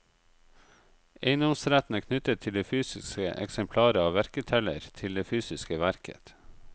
Eiendomsretten er knyttet til det fysiske eksemplaret av verketeller til det fysiske verket.